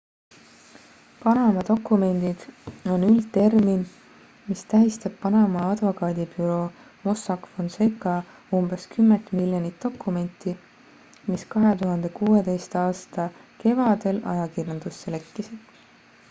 """panama dokumendid" on üldtermin mis tähistab panama advokaadibüroo mossack fonseca umbes kümmet miljonit dokumenti mis 2016. aasta kevadel ajakirjandusse lekkisid.